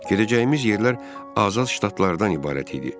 Gedəcəyimiz yerlər azad ştatlardan ibarət idi.